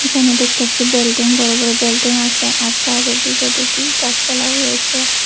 এখানে দেখতাছি বিল্ডিং বড় বড় বিল্ডিং আসে আর সাইড -এর দিকে দেখি গাছপালাও আসে।